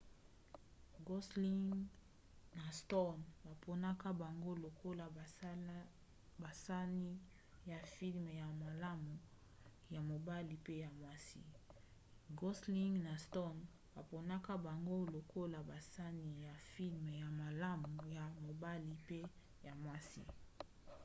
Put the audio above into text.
gosling na stone baponaka bango lokola basani ya filme ya malamu ya mobali mpe ya mwasi